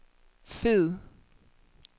fed